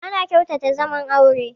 Ana kyautata zaman aure